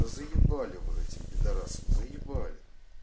заебали вы этим пидорасом заебали